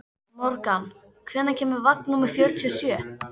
Morgan, hvenær kemur vagn númer fjörutíu og sjö?